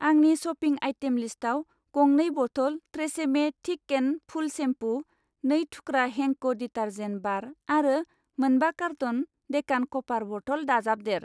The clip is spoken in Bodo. आंनि शपिं आइटेम लिस्टाव गंनै बथल TRESemme thick and full shampoo, नै थुख्रा हेंको डिटर्जेन्ट बार आरो मोनबा कार्टन डेकान कपार बथल दाजाबदेर।